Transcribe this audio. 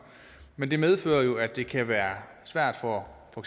men det medfører jo at det kan være svært for for